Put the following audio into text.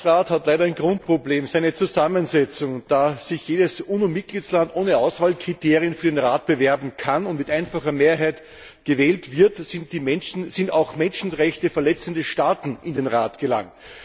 Der Menschenrechtsrat hat leider ein Grundproblem seine Zusammensetzung. Da sich jeder UNO Mitgliedstaat ohne Auswahlkriterien für den Rat bewerben kann und mit einfacher Mehrheit gewählt wird, sind auch Menschenrechte verletzende Staaten in den Rat gelangt.